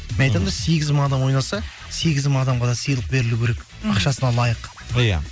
мен айтамын да сегіз мың адам ойнаса сегіз мың адамға да сыйлық берілуі керек ақшасына лайық иә